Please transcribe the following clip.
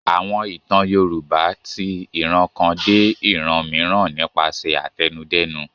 Àwọn ìtàn Yorùbá ti ìran kan dé ìran mìíràn nípasẹ̀ àtẹnudẹ́nu.